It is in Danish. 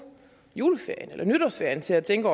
juleferien eller nytårsferien til at tænke